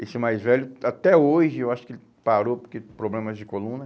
Esse mais velho, até hoje, eu acho que ele parou porque problemas de coluna.